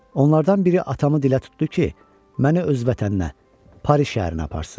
Onlardan biri atamı dilə tutdu ki, məni öz vətəninə, Paris şəhərinə aparsın.